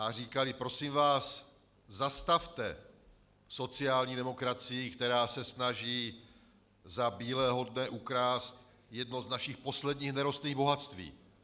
A říkali: Prosím vás, zastavte sociální demokracii, která se snaží za bílého dne ukrást jedno z našich posledních nerostných bohatství.